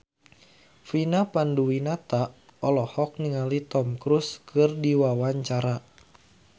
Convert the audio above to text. Vina Panduwinata olohok ningali Tom Cruise keur diwawancara